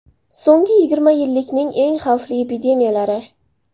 So‘nggi yigirma yillikning eng xavfli epidemiyalari.